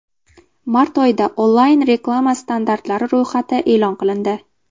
Mart oyida onlayn-reklama standartlari ro‘yxati e’lon qilindi.